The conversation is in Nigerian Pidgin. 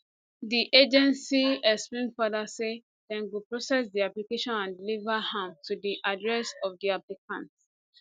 di agency explain further say dem go process di application and deliver am to di address of di applicant